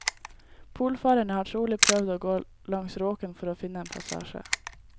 Polfarerne har trolig prøvd å gå langs råken for å finne en passasje.